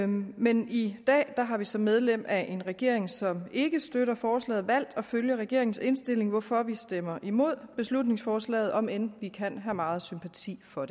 men i dag har vi som medlem af en regering som ikke støtter forslaget valgt at følge regeringens indstilling hvorfor vi stemmer imod beslutningsforslaget om end vi kan have meget sympati for